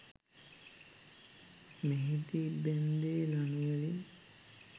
මෙහිදී බැන්දේ ලණුවලින්